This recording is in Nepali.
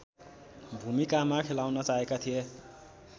भूमिकामा खेलाउन चाहेका थिए